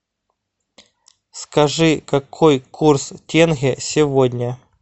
скажи какой курс тенге сегодня